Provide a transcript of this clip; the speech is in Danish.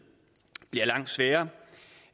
bliver det langt sværere